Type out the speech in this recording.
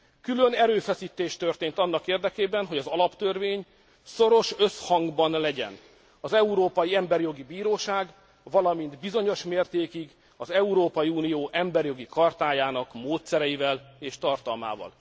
Külön erőfeszítés történt annak érdekében, hogy az alaptörvény szoros összhangban legyen az Európai Emberjogi Bíróság valamint bizonyos mértékig az Európai Unió emberjogi chartájának módszereivel és tartalmával.